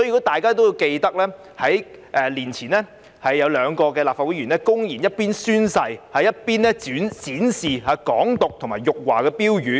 大家也記得，在數年前有兩位立法會議員公然一邊宣誓，一邊展示"港獨"及辱華標語。